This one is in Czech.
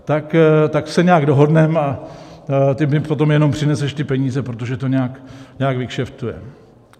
Tak se nějak dohodneme, a ty mi potom jenom přineseš ty peníze, protože to nějak vykšeftujeme.